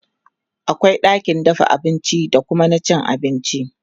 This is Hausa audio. akwai ɗakin dafa abinci da Kuma na cin abinci